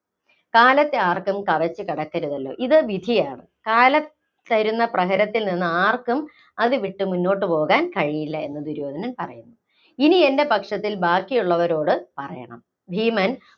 കാലത്തെ ആര്‍ക്കും കവച്ച് കടക്കരുതല്ലോ? ഇത് വിധിയാണ്. കാലം തരുന്ന പ്രഹരത്തില്‍ നിന്നും ആര്‍ക്കും അത് വിട്ട് മുന്നോട്ട് പോകാന്‍ കഴിവില്ല എന്നും ദുര്യോധനൻ പറയുന്നു. ഇനി എന്‍റെ പക്ഷത്തില്‍ ബാക്കിയുള്ളവരോട് പറയണം ഭീമൻ